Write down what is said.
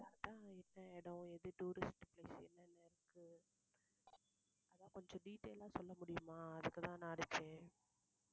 அதான் என்ன இடம் எது tourist place என்னென்ன இருக்கு அதான் கொஞ்சம் detailed ஆ சொல்ல முடியுமா அதுக்குத்தான் நான் அடிச்சேன்.